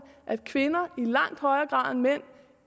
at kvinder